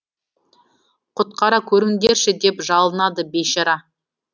құтқара көріңдерші деп жалынады бейшара